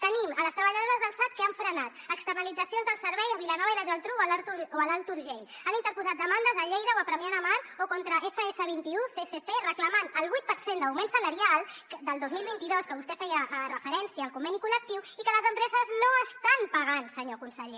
tenim les treballadores del sad que han frenat externalitzacions del servei a vilanova i la geltrú o a l’alt urgell han interposat demandes a lleida o a premià de mar o contra fs21 csc reclamant el vuit per cent d’augment salarial del dos mil vint dos a què vostè feia referència al conveni col·lectiu i que les empreses no estan pagant senyor conseller